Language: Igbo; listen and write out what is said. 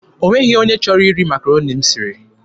O nweghị onye chọrọ iri Makaroni m siri.